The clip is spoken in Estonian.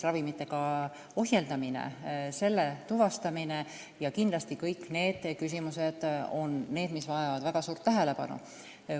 Kindlasti vajavad kõik need küsimused väga suurt tähelepanu.